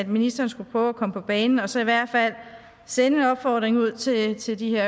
ministeren skulle prøve at komme på banen og så i hvert fald sende en opfordring ud til til de her